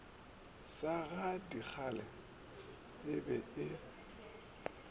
sa gadikgale e be e